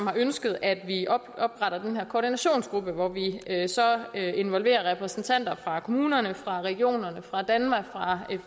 har ønsket at vi opretter den her koordinationsgruppe hvor vi så involverer repræsentanter fra kommunerne fra regionerne fra danmark fra